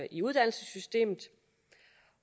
i uddannelsessystemet